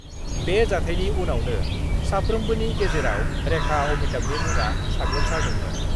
बे जाथायनि उनावनो साफ्रोमबोनि गेजेराव रेखा-अमिताभनि मुङा साग्लोबसारदोंमोन।